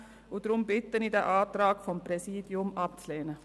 Deshalb bitte ich Sie, den Antrag des Präsidiums abzulehnen.